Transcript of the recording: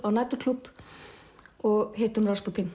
á næturklúbb og hittum